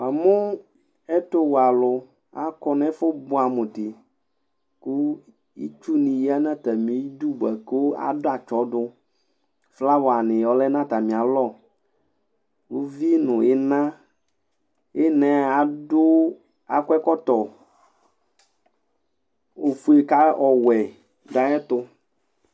Namʋ ɛtʋwɛ alʋ akɔ nʋ ɛfʋ bʋɛamʋ di kʋ itsʋ ni yanʋ atami idʋ bʋakʋ adʋ atsɔdʋ flawa ni lɛnʋ atami alɔ ʋvi nʋ iina iina ɛ akɔ ɛkɔtɔ ofʋe kʋ ɔwɛ dʋ ayʋ ɛtʋ